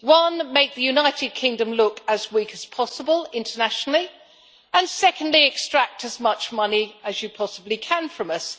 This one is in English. first, make the United Kingdom look as weak as possible internationally, and second, extract as much money as you possibly can from us.